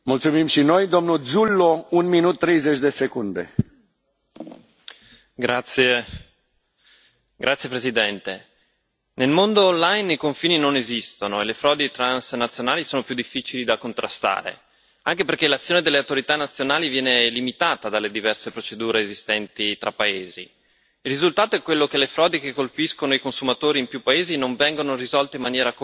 Signor Presidente, onorevoli colleghi, nel mondo online i confini non esistono e le frodi transnazionali sono più difficili da contrastare, anche perché l'azione delle autorità nazionali viene limitata dalle diverse procedure esistenti tra paesi. Il risultato è quello che le frodi che colpiscono i consumatori in più paesi non vengono risolte in maniera coordinata e coerente,